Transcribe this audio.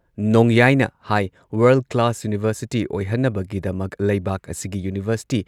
ꯅꯣꯡꯌꯥꯏꯅ high world class university ꯑꯣꯏꯍꯟꯅꯕꯒꯤꯗꯃꯛ ꯂꯩꯕꯥꯛ ꯑꯁꯤꯒꯤ ꯌꯨꯅꯤꯚꯔꯁꯤꯇꯤ